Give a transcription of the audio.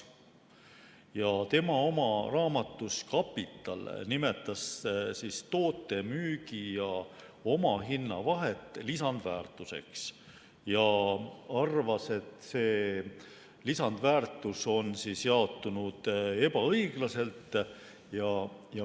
Ta nimetas oma raamatus "Kapital" toote müügi- ja omahinna vahet lisandväärtuseks ja arvas, et see lisandväärtus on jaotunud ebaõiglaselt.